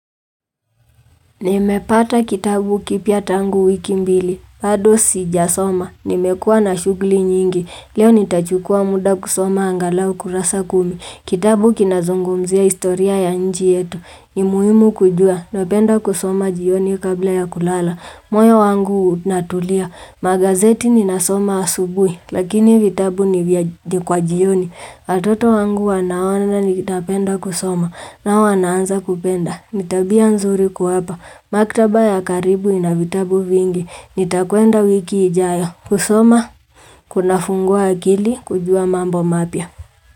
Nimepata kitabu kipya tangu wiki mbili, bado sijasoma, nimekuwa na shughuli nyingi, leo nitachukua muda kusoma angalau kurasa kumi, kitabu kinazungumzia historia ya nchi yetu, ni muhimu kujua, napenda kusoma jioni kabla ya kulala, moyo wangu unatulia, magazeti ninasoma asubuhi, lakini vitabu ni kwa jioni, watoto wangu wanaona ninapenda kusoma, nao wanaanza kupenda. Ni tabia nzuri kuwapa. Maktaba ya karibu ina vitabu vingi. Nitakwenda wiki ijayo. Kusoma, kunafungua akili, kujua mambo mapya.